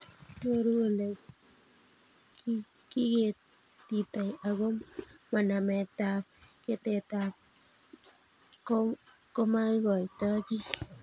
Nyoru Ole kiketitoi ago mo nametab ketetab komaikoito kiy